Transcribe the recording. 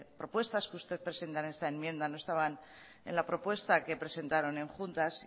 propuestas que usted presenta en esta enmienda no estaban en la propuesta que presentaron en juntas